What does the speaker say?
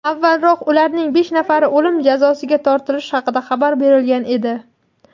Avvalroq ularning besh nafari o‘lim jazosiga tortilishi haqida xabar berilgan edi.